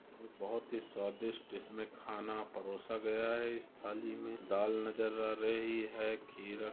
ये बहुत ही स्वादिष्ट इसमे खाना परोसा गया है इस थाली में दाल नजर आ रही है खीरा --